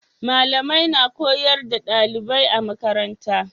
malamai na koyar da dalibai a makaranta